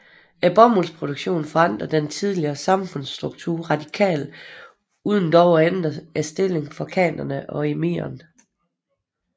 Bomuldsproduktionen forandrede den tidligere samfundsstruktur radikalt uden dog at ændre stillingen for khanene og emiren